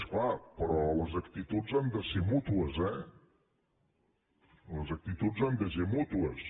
és clar però les actituds han de ser mútues eh les actituds han de ser mútues